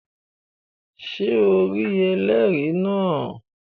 Ṣé o rí ẹlẹ́rìí náà?